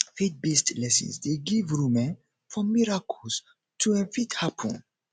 faith based lessons de give room um for miracles to um fit happen